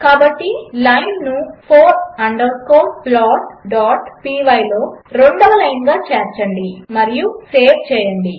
కాబట్టి లైన్ను four underscore plotపై లో రెండవ లైన్గా చేర్చండి మరియు సేవ్ చేయండి